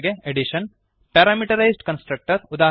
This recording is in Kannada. ಅಡಿಷನ್ ಪ್ಯಾರಾಮೀಟರೈಸ್ಡ್ ಕನ್ಸ್ಟ್ರಕ್ಟರ್ ಉದಾ